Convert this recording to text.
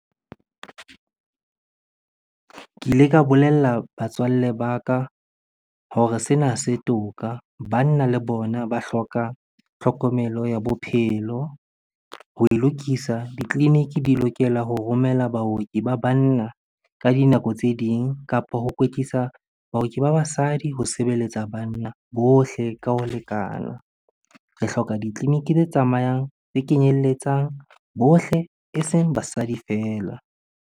Ke ile ka bolella batswalle ba ka hore sena ha se toka. Banna le bona ba hloka tlhokomelo ya bophelo. Ho e lokisa, ditleliniki di lokela ho romela baoki ba banna ka dinako tse ding kapa ho kwetlisa baoki ba basadi ho sebeletsa banna bohle ka ho lekana. Re hloka ditleliniki tse tsamayang, tse kenyeletsang bohle eseng basadi feela.